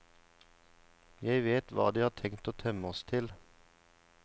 Jeg vet hva de har tenkt å temme oss til.